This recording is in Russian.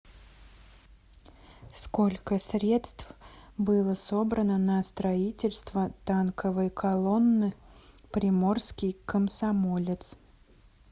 сколько средств было собрано на строительство танковой колонны приморский комсомолец